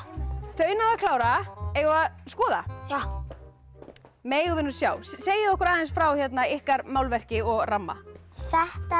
þau náðu að klára eigum við að skoða já megum við nú sjá segið okkur aðeins frá ykkar málverki og ramma þetta